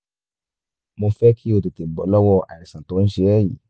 mo fẹ́ kí o o tètè bọ́ lọ́wọ́ àìsàn tó ń ṣe ẹ́ yìí